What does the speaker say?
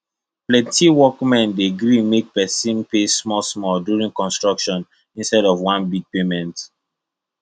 plenty workmen dey gree make people pay smallsmall during construction instead of one big payment